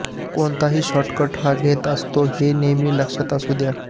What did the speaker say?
कोणताही शोर्टकट हा घातक असतो हे नेहमी लक्षात असू द्या